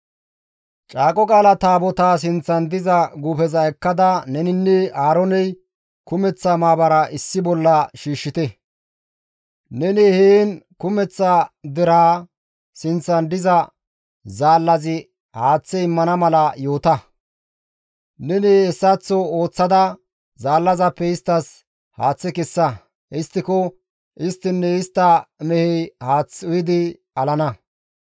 «Caaqo Qaala Taabotaa sinththan diza guufeza ekkida neninne Aarooney kumeththa maabara issi bolla shiishshite; neni heen kumeththa deraa sinththan diza zaallazi haaththe immana mala yoota; neni hessaththo ooththada zaallazappe isttas haaththe kessa; histtiko isttinne istta mehey haath uyidi alana.»